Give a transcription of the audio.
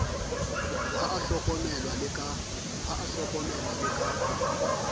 ha a hlokomelwe le ka